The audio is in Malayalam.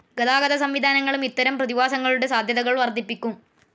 ഗതാഗത സംവിധാനങ്ങളും ഇത്തരം പ്രതിഭാസങ്ങളുടെ സാധ്യതകൾ വർധിപ്പിക്കും.